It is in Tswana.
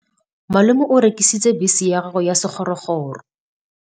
Malome o rekisitse bese ya gagwe ya sekgorokgoro.